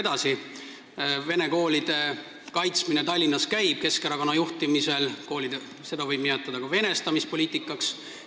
Keskerakonna juhtimisel käib Tallinnas vene koolide kaitsmine, seda võib nimetada ka venestamispoliitikaks.